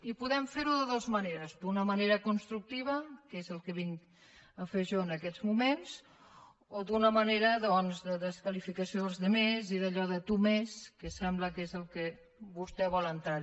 i podem fer ho de dues maneres d’una manera constructiva que és el que vinc a fer jo en aquests moments o d’una manera doncs de desqualificació dels altres i d’allò de tu més que sembla que és en el que vostè vol entrar